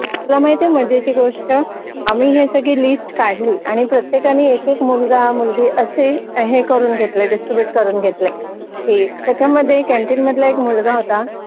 तुला माहिती माझ्याशी गोष्ट आम्ही सगळी लिस्ट काढली आणि प्रत्येकाने एक एक मुलगा मुलगी असे हे करून घेतले डिस्ट्रीब्यूट करून घेतले की त्याच्यामध्ये एक कॅन्टीन मधला मुलगा होता